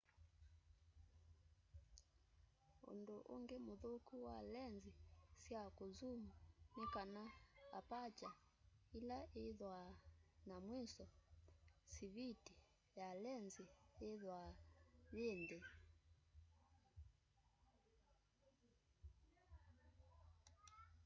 undu ungi muthuku wa lenzi sya kunzuum ni kana aparture ila ithwaa na mwiso siviti ya lenzi yithwaa yi nthi